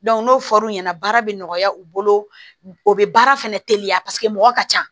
n'o fɔr'u ɲɛna baara bɛ nɔgɔya u bolo o bɛ baara fɛnɛ teliya paseke mɔgɔ ka ca